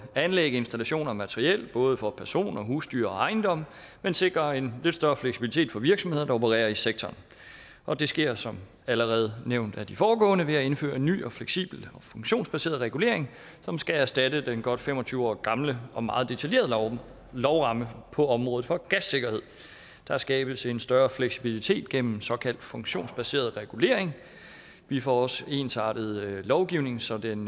anlæg installationer og materiel både for personer husdyr og ejendomme men sikrer en lidt større fleksibilitet for virksomheder der opererer i sektoren og det sker som allerede nævnt af de foregående ordførere ved at indføre en ny fleksibel og funktionsbaseret regulering som skal erstatte den godt fem og tyve år gamle og meget detaljerede lovramme på området for gassikkerhed der skabes en større fleksibilitet gennem såkaldt funktionsbaseret regulering vi får også ensartet lovgivningen så den